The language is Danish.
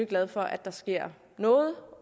glade for at der sker noget